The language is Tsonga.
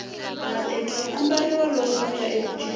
mateki ya ambariwa loko kuya eku ciniweni